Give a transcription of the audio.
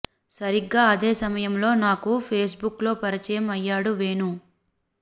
సరిగ్గా అదే సమయంలో నాకు ఫేస్బుక్ లో పరిచయం అయ్యాడు వేణు